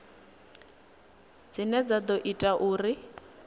dzine dza ḓo ita uri